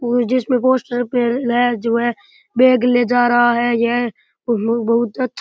और जो पे लाये जो है बेग ले जा रहा है यह बहुत बहुत अ --